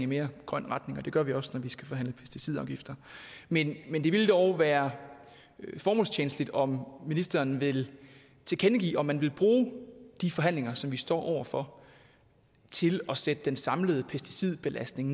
mere grøn retning og det gør vi også når vi skal forhandle pesticidafgifter men det ville dog være formålstjenligt om ministeren ville tilkendegive om man ville bruge de forhandlinger som vi står over for til at sætte den samlede pesticidbelastning